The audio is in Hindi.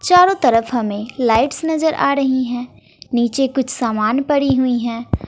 चारों तरफ हमें लाइट्स नजर आ रही है नीचे कुछ सामान पड़ी हुई है।